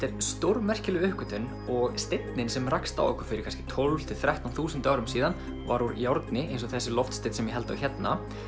er stórmerkileg uppgötvun og steinninn sem rakst á okkur fyrir kannski tólfta til þrettán þúsund árum síðan var úr járni eins og þessi loftsteinn sem ég held á hérna